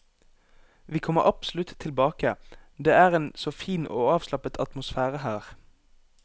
Vi kommer absolutt tilbake, det er en så fin og avslappet atmosfære her.